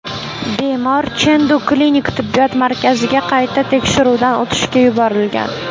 Bemor Chendu klinik tibbiyot markaziga qayta tekshiruvdan o‘tishga yuborilgan.